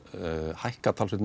hækkað umtalsvert